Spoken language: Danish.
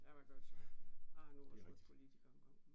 Ja, hvad gør du så, ja. Jeg har nu også været politiker engang